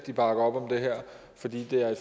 bakker op om det her fordi det er